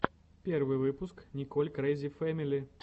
первый выпуск николь крэйзи фэмили